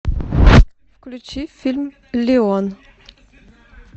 включи фильм леон